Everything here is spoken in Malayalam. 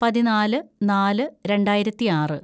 പതിനാല് നാല് രണ്ടായിരത്തിയാറ്‌